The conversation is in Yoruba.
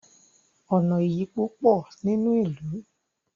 ọnà ìyípo pọ nínú ilú